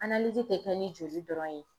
te kɛ ni joli dɔrɔn ye.